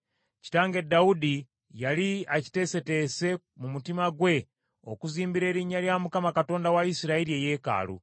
“Kitange Dawudi yali akiteeseteese mu mutima gwe okuzimbira Erinnya lya Mukama Katonda wa Isirayiri eyeekaalu.